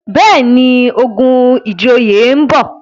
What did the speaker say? béèni, ogun ìjòyè nbọ.